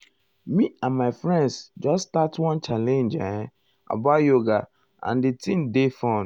me and my friends just start one challenge [um]about yoga and di thing dey fun.